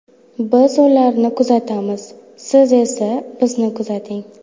Biz ularni kuzatamiz, siz esa bizni kuzating!